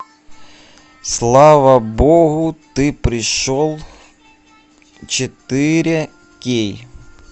слава богу ты пришел четыре кей